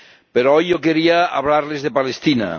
Pero hoy yo quería hablarles de Palestina.